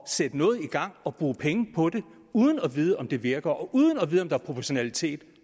sætte noget i gang og bruge penge på det uden at vide om det virker og uden at vide om der er proportionalitet i